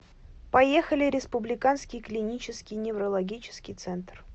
поехали республиканский клинический неврологический центр